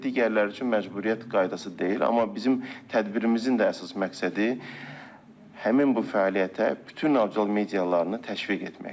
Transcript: Digərləri üçün məcburiyyət qaydası deyil, amma bizim tədbirimizin də əsas məqsədi həmin bu fəaliyyətə bütün audiovizual medyalarını təşviq etməkdir.